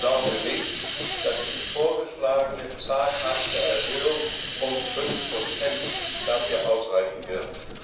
Doch ich glaube nicht, dass die vorgeschlagene zaghafte Erhöhung um 5 dafür ausreichen wird.